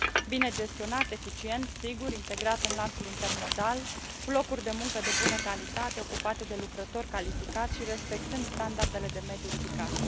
bine gestionat, eficient, sigur, integrat în lanțul intermodal, cu locuri de muncă de bună calitate, ocupate de lucrători calificați și respectând standardele de mediu ridicate.